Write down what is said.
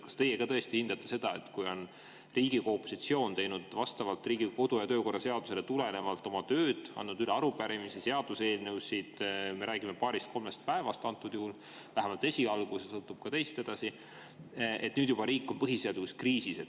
Kas ka teie hindate seda nii, et kui Riigikogu opositsioon on vastavalt Riigikogu kodu- ja töökorra seadusele teinud oma tööd, andnud üle arupärimisi ja seaduseelnõusid, me räägime antud juhul paarist-kolmest päevast, vähemalt esialgu, edasi sõltub see ka teist, siis on riik juba põhiseaduslikus kriisis?